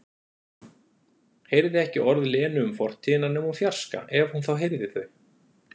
Heyrði ekki orð Lenu um fortíðina nema úr fjarska, ef hún þá heyrði þau.